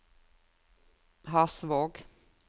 Hasvåg